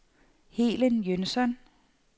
Helen Jønsson